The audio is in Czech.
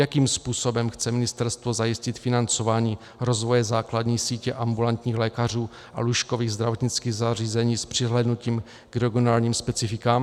Jakým způsobem chce ministerstvo zajistit financování rozvoje základní sítě ambulantních lékařů a lůžkových zdravotnických zařízení, s přihlédnutím k regionálním specifikům?